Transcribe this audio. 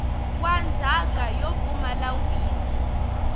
wa ndzhaka yo pfumala wili